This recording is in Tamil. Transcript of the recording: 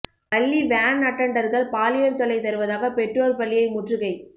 பள்ளி வேன் அட்டன்டர்கள் பாலியல் தொல்லை தருவதாக பெற்றோர் பள்ளியை முற்றுகை